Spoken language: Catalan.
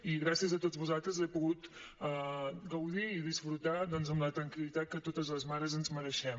i gràcies a tots vosaltres l’he pogut gaudir i disfrutar doncs amb la tranquil·litat que totes les mares ens mereixem